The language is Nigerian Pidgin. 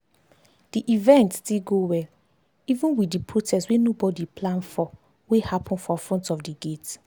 the event still go well even with the protest wey nobody plan for wey happen for front of d gate